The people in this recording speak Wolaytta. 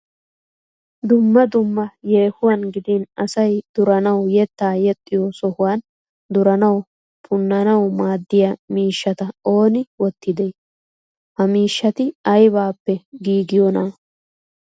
Dumma dumma yehuwan giddin asay duranaw yetta yexxiyo sohuwan duranaw ponaanaw maaddiya miishshata ooni wottide? Ha miishshati aybbappe giigiiyona ?